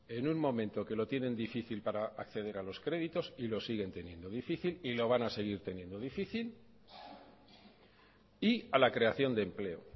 en un momento que lo tienen difícil para acceder a los créditos y lo siguen teniendo difícil y lo van a seguir teniendo difícil y a la creación de empleo